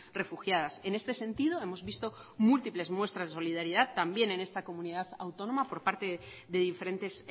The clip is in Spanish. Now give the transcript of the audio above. refugiadas en este sentido hemos visto múltiples muestras de solidaridad también en esta comunidad autónoma por parte de diferentes